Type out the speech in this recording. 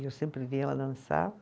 E eu sempre via ela dançar.